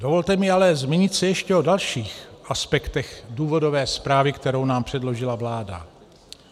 Dovolte mi ale zmínit se ještě o dalších aspektech důvodové zprávy, kterou nám předložila vláda.